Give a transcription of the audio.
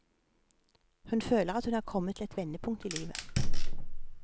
Hun føler hun er kommet til et vendepunkt i livet.